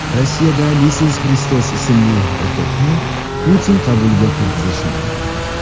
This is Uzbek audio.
Rossiyada Iisus Xristos ismli erkakni Putin qabuliga kirgizishmadi.